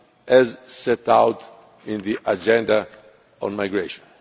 challenge, as set out in the agenda on migration.